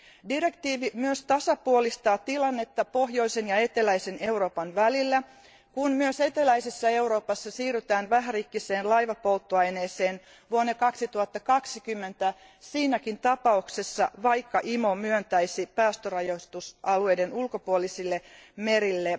Direktiivi myös tasapuolistaa tilannetta pohjoisen ja eteläisen Euroopan välillä, kun myös eteläisessä Euroopassa siirrytään vähärikkiseen laivapolttoaineeseen vuonna 2020 siinäkin tapauksessa, vaikka IMO myöntäisi päästörajoitusalueiden ulkopuolisille merille